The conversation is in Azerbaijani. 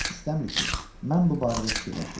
İstəmir ki, mən bu barədə fikirləşim.